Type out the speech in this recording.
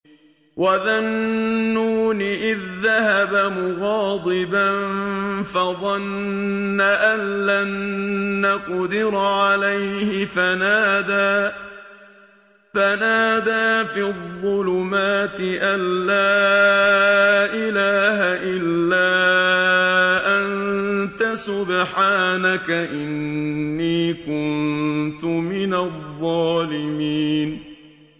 وَذَا النُّونِ إِذ ذَّهَبَ مُغَاضِبًا فَظَنَّ أَن لَّن نَّقْدِرَ عَلَيْهِ فَنَادَىٰ فِي الظُّلُمَاتِ أَن لَّا إِلَٰهَ إِلَّا أَنتَ سُبْحَانَكَ إِنِّي كُنتُ مِنَ الظَّالِمِينَ